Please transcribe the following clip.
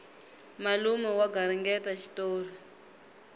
malume va garingeta xitori